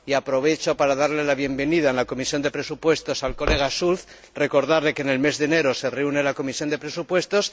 Y aprovecho para darle la bienvenida en la Comisión de Presupuestos al colega Schulz y recordarle que en el mes de enero se reúne la Comisión de Presupuestos.